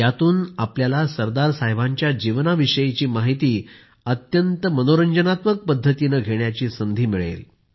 त्यातनं आपल्याला सरदार साहेबांचं जीवनाविषयी माहिती अत्यंत मनोरंजनात्मक पद्धतीनं घेण्याची संधी मिळेल